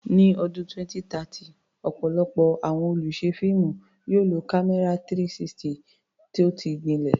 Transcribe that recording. Ní ọdún 2030, ọ̀pọ̀lọpọ̀ àwọn olùṣe fíìmù yóò lo kámẹ́rà 360 tó ti gbilẹ̀.